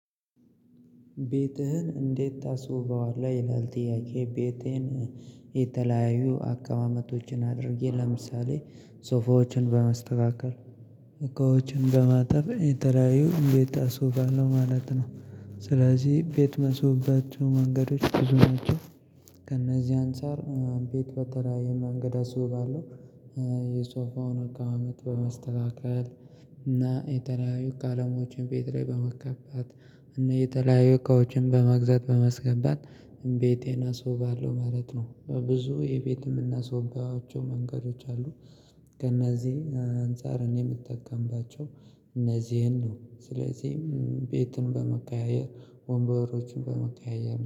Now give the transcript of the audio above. ቤትህን እንዴት ታስውበዋለህ ይላል ጥያቄ? ቤቴን የተለያዩ አቀማመቶችን አድርጌ ለምሳሌ ሶፋዎችን በማስተካከል እቃዎችን በማጠብ የተለያዩ ቤት አስውባለሁ ማለት ነው። ስለዚህ ቤት መስሩባቸው መንገዶች ብዙናቸው። ከእነዚህ አንፃር ቤት በተለያየ መንገድ አስውባለሁ። የሶፋውን እቃ አመት በማስተካከል እና የተለያዩ ቃለሞችን ቤት ላይ በመቀጥቀጥ እና የተለያዩ እቃዎችን በመግዛት በማስገባት እምቤቴን አስውባለሁ ማለት ነው። ብዙ የቤትም እና የምናስውባቸው መንገዶች አሉ። ከእነዚህ አንፃር እኔ የምጠቀምባቸው እነዚህን ነው ስለዚህም ቤትን በመቀያየር ወንበሮችን በመቀያየር